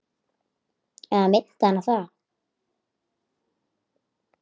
Eða minnti hana það?